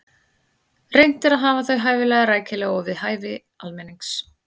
Reynt er að hafa þau hæfilega rækileg og við hæfi almennings.